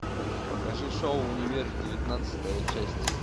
покажи шоу универ девятнадцатая часть